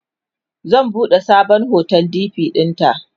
zan buɗe sabon hoton dp ɗinta